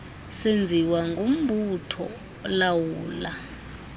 senziwa ngumbutho olawula